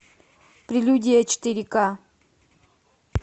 прелюдия четыре ка